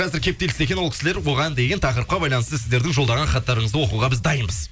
қазір кептелісте екен ол кісілер бұған дейін тақырыпқа байланысты сіздердің жолдаған хаттарыңызды оқуға біз дайынбыз